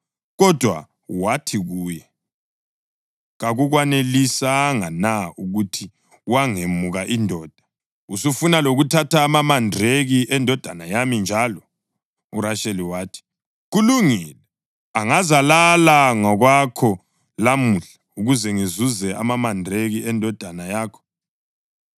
Kodwa wathi kuye, “Kakukwanelisanga na ukuthi wangemuka indoda? Usufuna ukuthatha lamamandraki endodana yami njalo?” URasheli wathi, “Kulungile, angazalala ngakwakho lamuhla ukuze ngizuze amamandraki endodana yakho.”